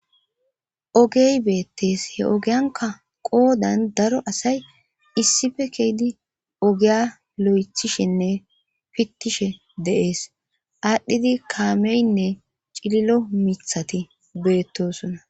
ogey beettees he ogiyanka qoodan daro asay issife keeydi ogeya lo7ethishenne pittishe deees aadhdhidi kaameynne cililo mithati beettosona